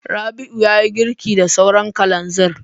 Rabi'u ya yi girki da sauran kalanzir.